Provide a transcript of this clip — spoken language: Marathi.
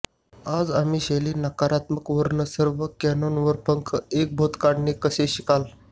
आज आम्ही शैली नकारात्मक वर्ण सर्व कॅनन वर पंख एक भूत काढणे कसे शिकाल